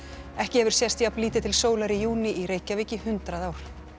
ekki hefur sést jafn lítið til sólar í júní í í Reykjavík í hundrað ár